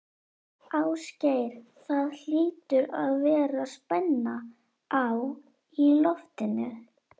Ásgeir, það hlýtur að vera spenna á í loftinu?